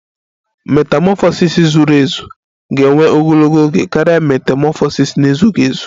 Metamọfọsis zuru ezu ga-ewe ogologo oge karịa metamọfọsis na-ezughị ezu